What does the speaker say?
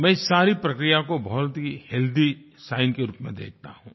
मैं इस सारी प्रक्रिया को बहुत ही हेल्थी साइन्स के रूप में देखता हूँ